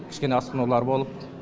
кішкене асқынулар болып